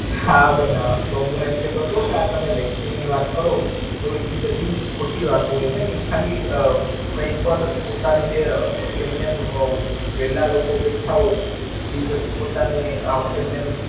હા બેન હા, તો હું એમ કેતો તો કે આ તમે Vaccines ની વાત કરો. તો ઈ બધી ખોટી વાતો હોય બેન, ઈ ખાલી અ કય પણ પોતાને જે એમનેમ અ નવરા લોકો બેઠા હોય ઈ પછી, પોતાની આ એમનમ.